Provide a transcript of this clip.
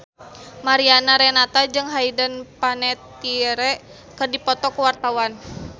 Mariana Renata jeung Hayden Panettiere keur dipoto ku wartawan